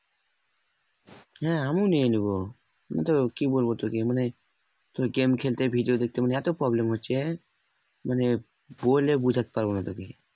হ্যাঁ আমিও নিয়ে নিবো কিন্তু কি বলবো তোকে মানে তোর game খেলতে video দেখতে মানে এত problem হচ্ছে মানে বলে বোঝাতে পারবো না তোকে